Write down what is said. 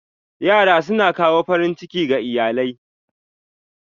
Yara suna kawo farin ciki ga iyalai.